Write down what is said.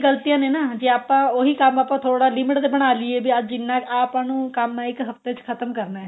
ਗ਼ਲਤੀਆਂ ਨੇ ਨਾ ਜੇ ਆਪਾਂ ਉਹੀ ਕੰਮ ਆਪਾਂ ਥੋੜਾ limit ਦੇ ਬਣਾ ਲਈਏ ਵੀ ਅੱਜ ਇੰਨਾ ਆ ਆਪਾਂ ਨੂੰ ਕੰਮ ਏ ਇੱਕ ਹਫਤੇ ਚ ਖਤਮ ਕਰਨਾ